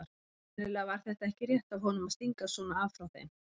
Sennilega var þetta ekki rétt af honum að stinga svona af frá þeim.